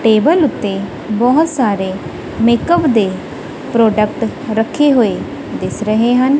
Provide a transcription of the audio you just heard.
Table ਉੱਤੇ ਬਹੁਤ ਸਾਰੇ ਮੇਕਅਪ ਦੇ ਪ੍ਰੋਡਕਟ ਰੱਖੇ ਹੋਏ ਦਿਸ ਰਹੇ ਹਨ।